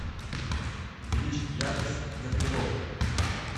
увеличить яркость в гардеробной